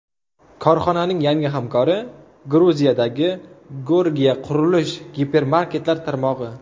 Korxonaning yangi hamkori – Gruziyadagi Gorgia qurilish gipermarketlar tarmog‘i.